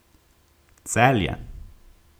Celje.